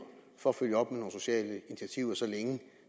for at følge op med nogle sociale initiativer så længe